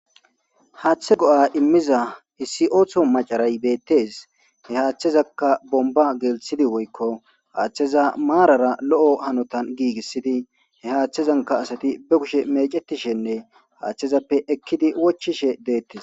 Haaththe go'a immiza hissi ooththo macaray beettes he haaththezaka bomba gelthidi woykko haaththeza maarara lo'o hanotan giigissidi he haaththezanka asati be kushe mecetishenne haaththezappe ekkidi wochishe deettee.